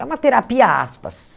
É uma terapia, aspas.